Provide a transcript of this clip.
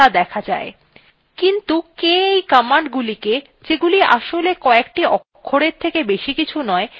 কিন্তু কে এই commandগুলিকে যেগুলি আসলে কএকটি অক্ষরের থেকে বেশি কিছু নয় সেগুলিকে ক্রিয়াত়ে রূপান্তর করছে